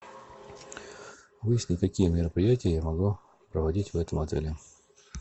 выясни какие мероприятия я могу проводить в этом отеле